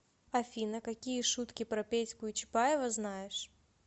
афина какие шутки про петьку и чапаева знаешь